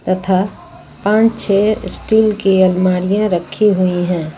तथा पांच छे स्टील की अलमारियां रखी हुई है।